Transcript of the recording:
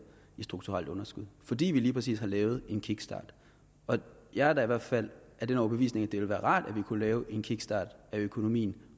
et strukturelt underskud fordi vi lige præcis har lavet en kickstart jeg er da i hvert fald af den overbevisning at det ville være rart ville kunne lave en kickstart af økonomien